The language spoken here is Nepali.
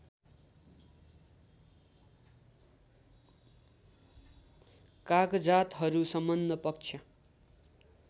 कागजातहरू सम्बद्ध पक्ष